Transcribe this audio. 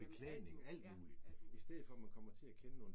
Beklædning, alt muligt. I stedet for man kommer til at kende nogen